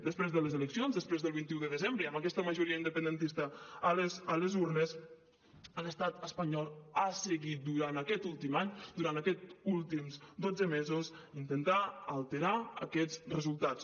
després de les eleccions després del vint un de desembre i amb aquesta majoria independentista a les urnes l’estat espanyol ha seguit durant aquest últim any durant aquests últims dotze mesos intentant alterar aquests resultats